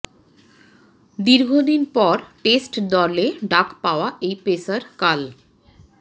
দীর্ঘদিন পর টেস্ট দলে ডাক পাওয়া এই পেসার কাল